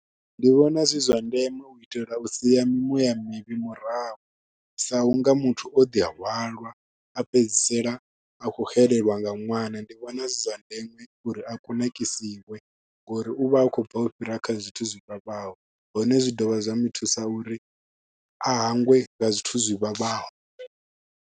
Ndi vhona zwi zwa ndeme u itela u sia mimuya mivhi murahu sa u nga muthu o ḓihalwa a fhedzisela a khou xelelwa nga ṅwana. Ndi vhona zwi zwa ndeme uri a kunakisiwa ngori u vha a khou bva u fhira kha zwithu zwivhavhaho hone zwi dovha zwa mu thusa uri a hangwe nga zwithu zwivhavhaho.